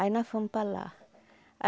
Aí nós fomos para lá.